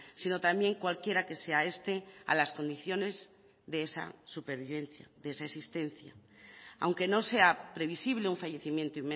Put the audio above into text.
sino también cualquiera que sea este a las condiciones de esa supervivencia de esa existencia aunque no sea previsible un fallecimiento